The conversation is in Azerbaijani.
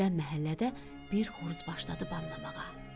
Birdən məhəllədə bir xoruz başladı banlamağa.